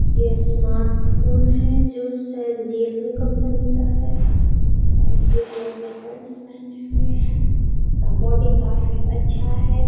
यह smart phone है जो शायद रियल्मी कंपनी का है और का पेंट पहने हुए है। उसका बॉडी काफ़ी अच्छा है।